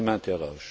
je m'interroge